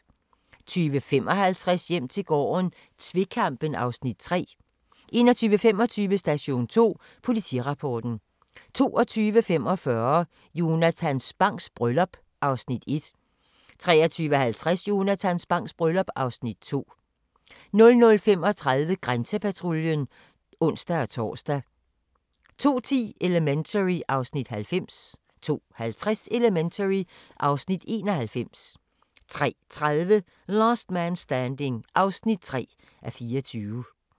20:55: Hjem til gården - tvekampen (Afs. 3) 21:25: Station 2: Politirapporten 22:45: Jonatan Spangs bryllup (Afs. 1) 23:50: Jonatan Spangs bryllup (Afs. 2) 00:35: Grænsepatruljen (ons-tor) 02:10: Elementary (Afs. 90) 02:50: Elementary (Afs. 91) 03:30: Last Man Standing (3:24)